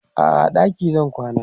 a'a a ɗaki zan kwana